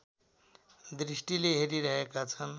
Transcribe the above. दृष्टिले हेरिरहेका छन्